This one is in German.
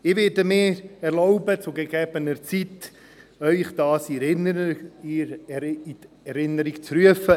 Ich werde mir erlauben, Ihnen diesen zu gegebener Zeit in Erinnerung zu rufen.